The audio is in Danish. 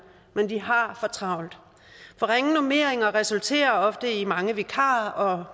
men de har for travlt for ringe normeringer resulterer ofte i mange vikarer og